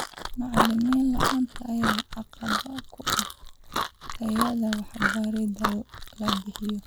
Macallim la'aanta ayaa caqabad ku ah tayada waxbarida la bixiyo.